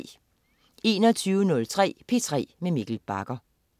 21.03 P3 med Mikkel Bagger